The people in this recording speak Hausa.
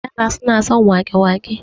yara suna son wake- wake